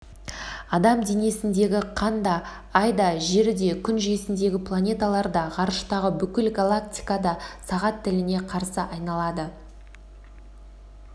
адам денесіндегі қан да ай да жер де күн жүйесіндегі планеталар да ғарыштағы бүкіл галактика да сағат тіліне қарсы айналады